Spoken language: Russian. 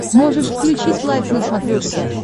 можешь включить лайф на смотрешке